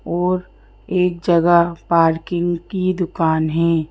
और एक जगह पार्किंग की दुकान है।